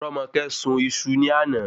Romoke sun iṣu ní àná